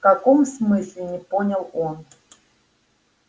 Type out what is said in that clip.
в каком смысле не понял он